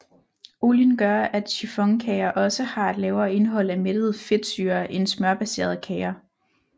Olien gør at chiffonkager også har et lavere indhold af mættede fedtsyrer end smørbaserede kager